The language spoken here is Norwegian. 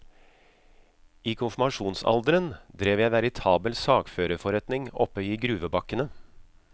I konfirmasjonsalderen drev jeg veritabel sakførerforretning oppe i gruvebakkene.